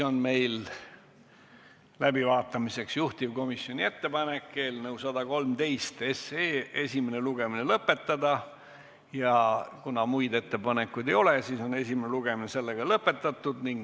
Meil on läbivaatamiseks juhtivkomisjoni ettepanek eelnõu 113 esimene lugemine lõpetada ja kuna muid ettepanekuid ei ole, siis ongi esimene lugemine lõpetatud.